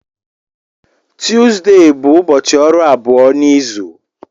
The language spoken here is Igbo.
Tuzdee bụ ụbọchị ọrụ abụọ n'izu.